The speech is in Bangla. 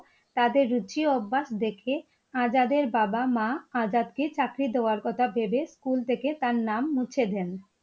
তাদের রুচি অভ্যাস দেখে আজাদের বাবা মা আজাদ কে চাকির দেবার কথা ভেবে স্কুল থেকে তার নাম মুছে দেন ।